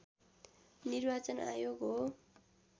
निर्वाचन आयोग हो